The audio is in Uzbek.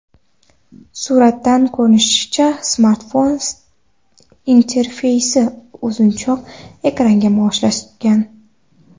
Suratdan ko‘rinishicha, smartfon interfeysi uzunchoq ekranga moslashgan.